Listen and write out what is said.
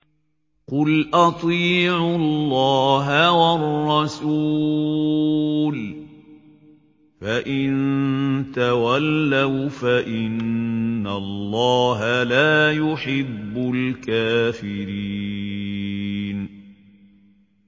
قُلْ أَطِيعُوا اللَّهَ وَالرَّسُولَ ۖ فَإِن تَوَلَّوْا فَإِنَّ اللَّهَ لَا يُحِبُّ الْكَافِرِينَ